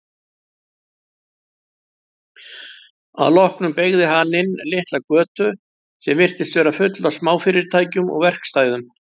Að lokum beygði hann inn litla götu sem virtist vera full af smáfyrirtækjum og verkstæðum.